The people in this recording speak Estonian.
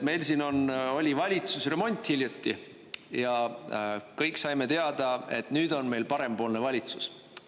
Meil siin oli valitsusremont hiljuti ja kõik saime teada, et nüüd on meil parempoolne valitsus.